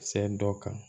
Sɛ dɔ kan